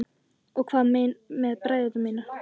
Og hvað með bræður mína?